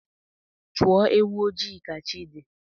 Chọọ ewu ojii ka chi dị